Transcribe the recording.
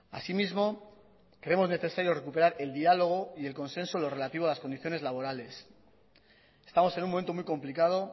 así mismo creemos necesario recuperar el diálogo y el consenso en lo relativo a las condiciones laborales estamos en un momento muy complicado